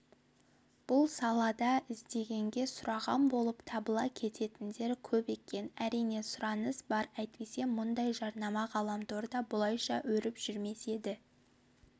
бұл салада іздегенге сұраған болып табыла кететіндер көп екен әрине сұраныс бар әйтпесе мұндай жарнама ғаламторда бұлайша өріп жүрмес еді